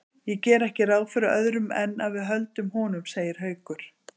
Ég geri ekki ráð fyrir öðru en að við höldum honum, segir Haukur.